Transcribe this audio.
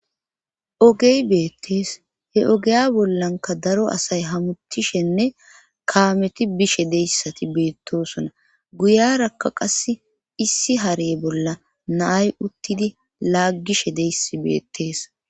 ogey beettees he ogeya bollanka daro asay hamutishenne kaameti bishe deyssati beettosona guyarakka qass issi harey bolla naay uttidi laaggishe deyssi beettees